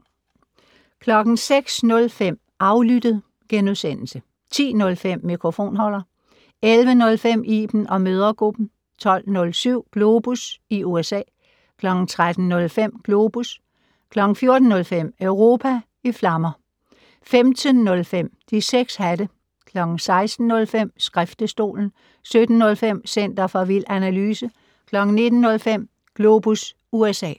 06:05: Aflyttet * 10:05: Mikrofonholder 11:05: Iben & mødregruppen 12:07: Globus i USA 13:05: Globus 14:05: Europa i flammer 15:05: De 6 hatte 16:05: Skriftestolen 17:05: Center for vild analyse 19:05: Globus USA